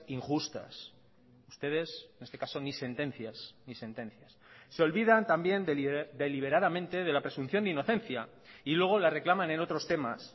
injustas ustedes en este caso ni sentencias ni sentencias se olvidan también deliberadamente de la presunción de inocencia y luego la reclaman en otros temas